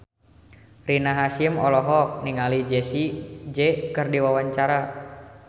Rina Hasyim olohok ningali Jessie J keur diwawancara